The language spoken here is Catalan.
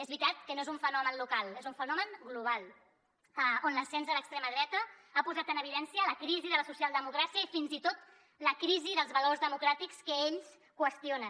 és veritat que no és un fenomen local és un fenomen global on l’ascens de l’extrema dreta ha posat en evidència la crisi de la socialdemocràcia i fins i tot la crisi dels valors democràtics que ells qüestionen